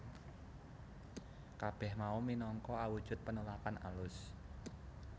Kabeh mau minangka awujud penolakan alus